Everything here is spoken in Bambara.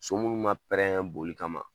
So minnu ma boli kama